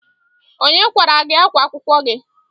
Onye kwara gị ákwá akwụkwọ gị?